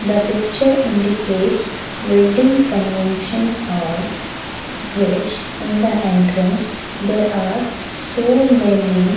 the picture indicates wedding convention hall which in the entrance there are so many--